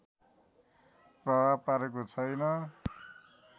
प्रभाव पारेको छैन